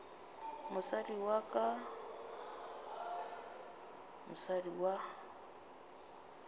mosadi wa ka mosadi wa